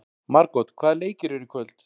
Margot, hvaða leikir eru í kvöld?